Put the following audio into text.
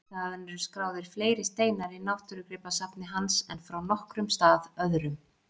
Þaðan eru skráðir fleiri steinar í náttúrugripasafni hans en frá nokkrum stað öðrum.